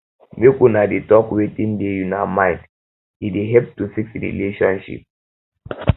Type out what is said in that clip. make una dey um talk wetin dey una mind e dey um help to fix relationship